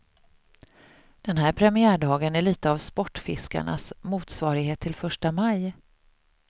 Den här premiärdagen är lite av sportfiskarnas motsvarighet till första maj.